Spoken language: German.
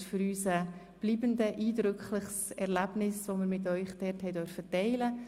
Es war für uns ein eindrückliches und bleibendes Erlebnis, dass wir mit Ihnen dort teilen durften.